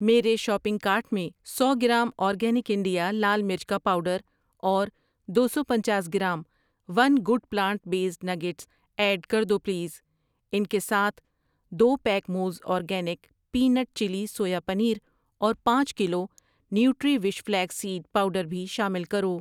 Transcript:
میرے shopping cart میں سو گرام آرگینک انڈیا لال مرچ کا پاؤڈر اور دو سو پنچاس gram one good plant based nuggets add کر دو پلیز۔ ان کے ساتھ، دو pack Mo's organic peanut chilli soya paneer اور پانچ kilo Nutriwish flax seed powder بھی شامل کرو۔